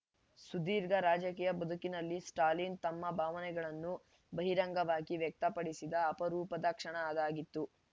ಸುದೀರ್ಘ ರಾಜಕೀಯ ಬದುಕಿನಲ್ಲಿ ಸ್ಟಾಲಿನ್‌ ತಮ್ಮ ಭಾವನೆಗಳನ್ನು ಬಹಿರಂಗವಾಗಿ ವ್ಯಕ್ತಪಡಿಸಿದ ಅಪರೂಪದ ಕ್ಷಣ ಅದಾಗಿತ್ತು